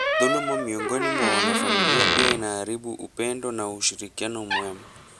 Dhuluma miongoni mwa wanafamilia pia inaharibu upendo na ushirikiano mwema.